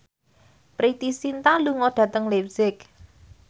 Preity Zinta lunga dhateng leipzig